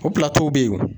O bɛ yen